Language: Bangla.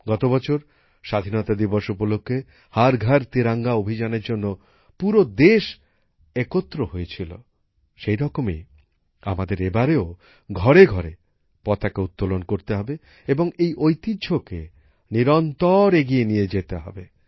গত বছর স্বাধীনতা দিবস উপলক্ষে হর ঘর তিরঙ্গা অভিযানের জন্য পুরো দেশ একত্র হয়েছিল সেই রকমই আমাদের এবারেও ঘরে ঘরে পতাকা উত্তোলন করতে হবে এবং এই ঐতিহ্যকে নিরন্তর এগিয়ে নিয়ে যেতে হবে